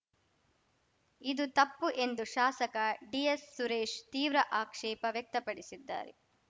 ಇದು ತಪ್ಪು ಎಂದು ಶಾಸಕ ಡಿಎಸ್‌ಸುರೇಶ್‌ ತೀವ್ರ ಆಕ್ಷೇಪ ವ್ಯಕ್ತಪಡಿಸಿದ್ದಾರೆ